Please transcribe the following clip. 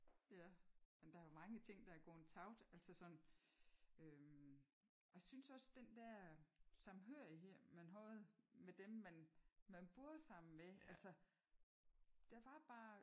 Men der er jo mange ting der er gået tabt. Altså sådan øh og jeg synes også den der samhørighed man havde med dem man man boede sammen med altså der var bare